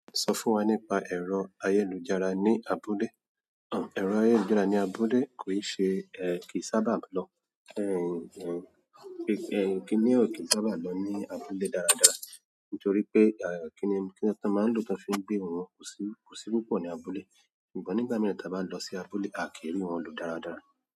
Sọ fún wa nípa ẹ̀rọ ayélujára ní abúlé. Ẹ̀rọ ayélujára ní abúlé kò ì ṣe, kì í sábà lọ. Kínní ò kín sábà lọ ní abúlé dáradára nítorí pé kíni ti wọn máa ń lò tí wọ́n fi ń gbé ohùn wọn, kò sí púpọ̀ ní abúlé. Nìgbà mìíràn ta bá lọ sí abúlé, a kí rí wọn lò dáradára.